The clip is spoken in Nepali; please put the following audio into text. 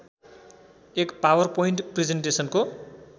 एक पावरपोइन्ट प्रिजेन्टेसनको